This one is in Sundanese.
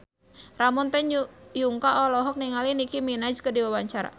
Ramon T. Yungka olohok ningali Nicky Minaj keur diwawancara